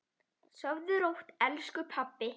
Sofðu rótt, elsku pabbi.